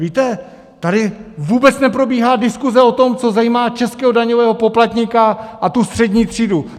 Víte, tady vůbec neprobíhá diskuse o tom, co zajímá českého daňového poplatníka a tu střední třídu.